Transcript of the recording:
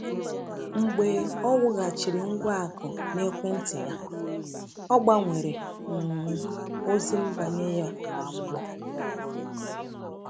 Mgbe o wụghachiri ngwa akụ n’ekwentị ya, o gbanwere um ozi nbanye ya ozigbo.